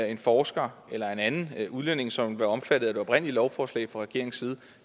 en forsker eller en anden udlænding som bliver omfattet af det oprindelige lovforslag fra regeringens side